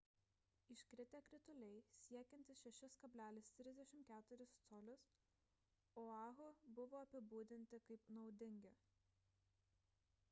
iškritę krituliai siekiantys 6,34 col oahu buvo apibūdinti kaip naudingi